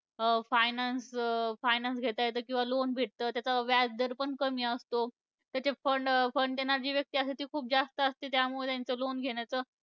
Finance finance घेता येतं किंवा loan भेटतं. त्याचं व्याजदर पण कमी असतो. त्याचा fund fund देणारी जी व्यक्ती असते ती खूप जास्त असते. त्यामुळे त्यांचं loan घेण्याचं